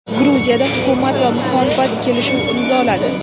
Gruziyada Hukumat va muxolifat kelishuv imzoladi.